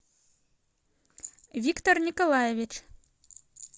виктор николаевич